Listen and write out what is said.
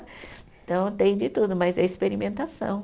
Então tem de tudo, mas é experimentação.